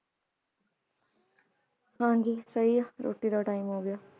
ਹਾਂਜੀ ਸਹੀ ਆ ਰੋਟੀ ਦਾ time ਹੋ ਗਿਆ